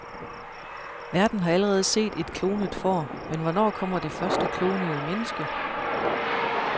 Verden har allerede set et klonet får, men hvornår kommer det første klonede menneske?